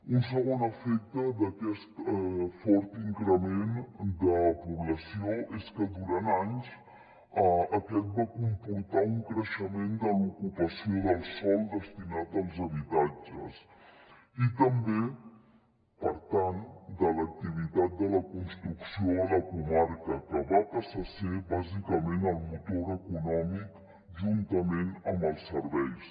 un segon efecte d’aquest fort increment de població és que durant anys aquest va comportar un creixement de l’ocupació del sòl destinat als habitatges i també per tant de l’activitat de la construcció a la comarca que va passar a ser bàsicament el motor econòmic juntament amb els serveis